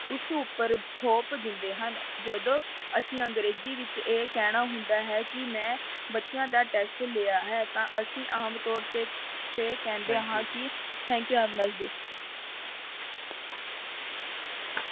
ਉਸ ਉੱਪਰ ਥੋਪ ਦਿੰਦੇ ਹਨ, ਜਦੋਂ ਅਸੀਂ ਅੰਗਰੇਜ਼ੀ ਵਿੱਚ ਇਹ ਕਹਿਣਾ ਹੁੰਦਾ ਹੈ ਕਿ ਮੈਂ ਬੱਚਿਆਂ ਦਾ test ਲਿਆ ਹੈ ਤਾਂ ਅਸੀਂ ਆਮ ਤੌਰ ਤੇ ਤੇ ਕਹਿੰਦੇ ਹਾਂ ਕਿ thank you, have a nice day